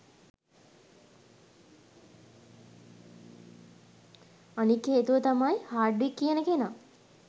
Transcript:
අනික් හේතුව තමයි හාඩ්වික් කියන කෙනා